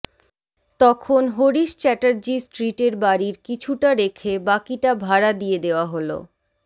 তখন হরিশ চ্যাটার্জি স্ট্রিটের বাড়ির কিছুটা রেখে বাকিটা ভাড়া দিয়ে দেওয়া হল